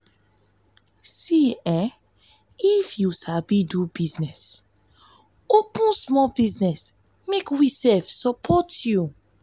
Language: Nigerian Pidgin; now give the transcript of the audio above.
if you sabi do sabi do business open small business make we support you